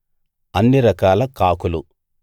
అన్ని రకాల కాకులు